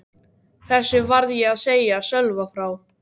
Þessu varð ég að segja Sölva frá.